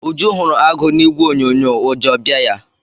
Uju hụrụ agụ na ìgwè onyonyo ụjọ bịa ya.